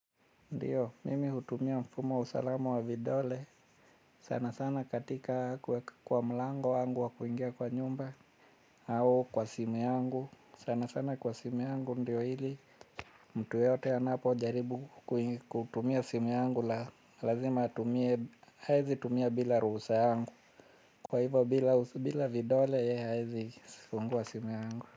Ndiyo, mimi hutumia mfumo wa usalamu wa vidole sana sana katika kuweka kwa mlango wangu wa kuingia kwa nyumba au kwa simu yangu, sana sana kwa simu yangu ndiyo ili mtu yote anapo jaribu kutumia simu yangu lazima atumie, haezi tumia bila ruhusa yangu, kwa hivo bila vidole yeye hawezi fungua simu yangu.